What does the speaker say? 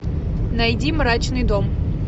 найди мрачный дом